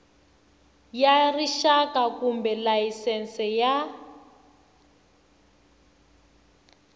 ya rixaka kumbe layisense ya